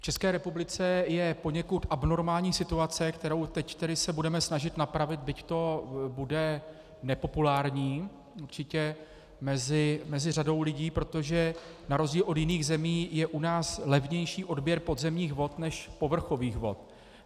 V České republice je poněkud abnormální situace, kterou se teď budeme snažit napravit, byť to bude nepopulární určitě mezi řadou lidí, protože na rozdíl od jiných lidí je u nás levnější odběr podzemních vod než povrchových vod.